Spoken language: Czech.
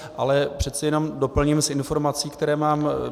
Ale přece jenom doplním s informací, kterou mám.